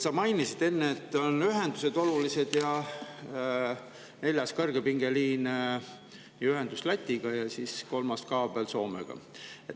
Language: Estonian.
Sa mainisid enne, et olulised on ühendused: neljas kõrgepingeliin, ühendus Lätiga ja kolmas Soomega.